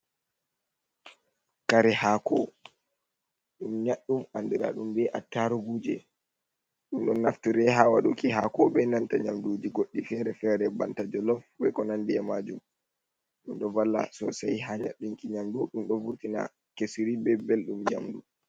Kare hako ɗum nyaɗɗum andira ɗum be a taruguje, ɗum ɗo naftire ha waɗuki hako be nanta nyamduji goɗɗi fere fere banta jolof beko nandiye majum, ɗum ɗo vala sosai ha nyaɗɗunki nyamdu, ɗum ɗo vurtina kisiri be belɗum yamdu.